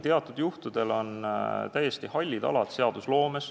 Teatud juhtudel ongi seadusloomes täiesti hallid alad.